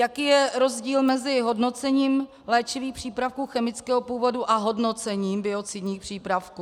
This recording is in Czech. Jaký je rozdíl mezi hodnocením léčivých přípravků chemického původu a hodnocením biocidních přípravků?